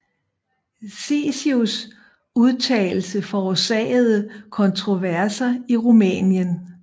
Chicus udtalelse forårsagede kontroverser i Rumænien